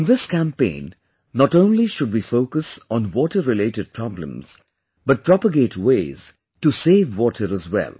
In this campaign not only should we focus on water related problems but propagate ways to save water as well